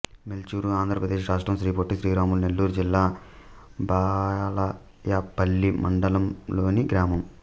మేల్చూరు ఆంధ్ర ప్రదేశ్ రాష్ట్రం శ్రీ పొట్టి శ్రీరాములు నెల్లూరు జిల్లా బాలాయపల్లి మండలంలోని గ్రామం